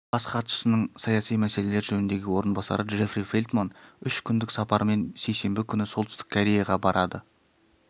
бас хатшысының саяси мәселелер жөніндегі орынбасары джеффри фелтман үш күндік сапармен сейсенбі күні солтүстік кореяға барады